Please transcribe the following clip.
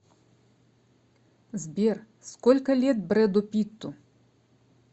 сбер сколько лет брэду питту